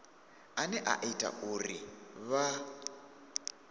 ane a ita uri vha